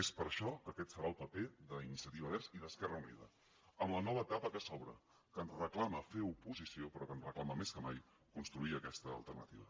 és per això que aquest serà el paper d’iniciativa verds i d’esquerra unida en la nova etapa que s’obre que ens reclama fer oposició però que ens reclama més que mai construir aquesta alternativa